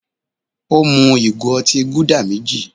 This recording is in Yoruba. Ó mú ìgò otí Gúdà méjì.